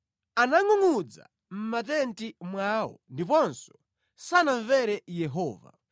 Anangʼungʼudza mʼmatenti mwawo ndipo sanamvere Yehova.